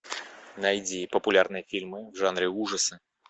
найди популярные фильмы в жанре ужасы